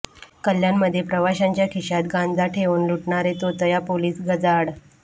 कल्याणमध्ये प्रवाशांच्या खिशात गांजा ठेवून लुटणारे तोतया पोलीस गजाआड